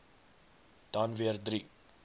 dan weer drie